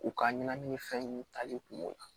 U ka ɲɛnamini fɛn nunnu tali kun na